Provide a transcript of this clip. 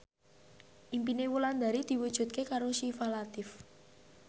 impine Wulandari diwujudke karo Syifa Latief